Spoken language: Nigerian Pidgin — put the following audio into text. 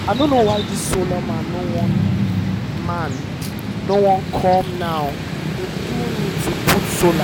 i no know why dis solar man no wan man no wan come now e dey do me to put solar